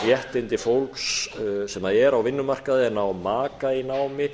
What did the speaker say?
réttindi fólks sem er á vinnumarkaði en á maka í námi